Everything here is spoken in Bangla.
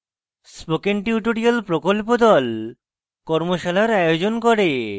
spoken tutorial প্রকল্প the কর্মশালার আয়োজন করে